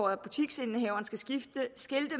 at butiksindehaveren skal skilte